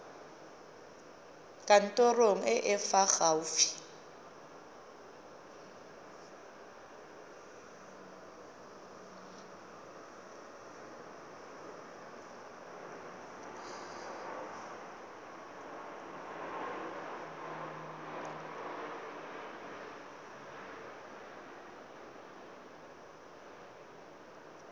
kantorong e e fa gaufi